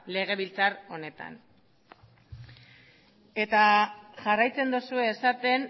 legebiltzar honetan eta jarraitzen duzue esaten